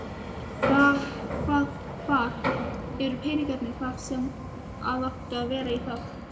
Hvað, hvar eru peningarnir þar sem að áttu að vera í það?